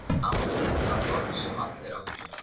Afmæli var orð sem allir áttu.